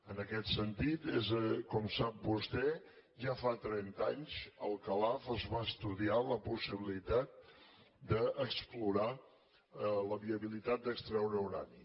en aquest sentit com sap vostè ja fa trenta anys a calaf es va estudiar la possibilitat d’explorar la viabilitat d’extreure urani